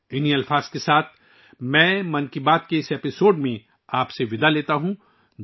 ان الفاظ کے ساتھ میں 'من کی بات' کی اس قسط میں آپ سے رخصت لیتا ہوں